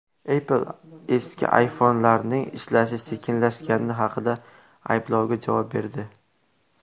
Apple eski iPhone’larning ishlashi sekinlashgani haqidagi ayblovga javob berdi.